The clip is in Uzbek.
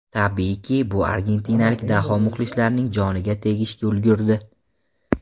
Tabiiyki, bu argentinalik daho muxlislarining joniga tegishga ulgurdi.